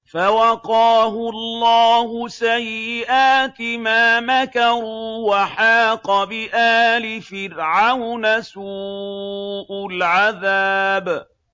فَوَقَاهُ اللَّهُ سَيِّئَاتِ مَا مَكَرُوا ۖ وَحَاقَ بِآلِ فِرْعَوْنَ سُوءُ الْعَذَابِ